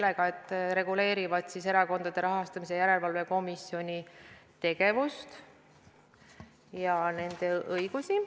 Need reguleerivad erakonnaseaduses praegu kõnealuse komisjoni tegevust ja selle õigusi.